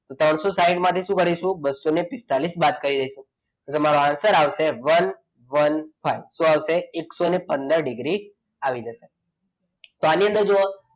ત્રણસો સાઈઠ માટે શું કરીશું બસો પિસ્તાળીસ બાદ કરીશ એટલે તમારો answer આવશે શું આવશે? વન વન ફાઈવ આવશે તો શું આવશે એકસો પંદર ડીગ્રી આવી જશે. તો આની અંદર જુઓ,